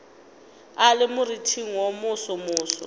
a le moriting wo mosomoso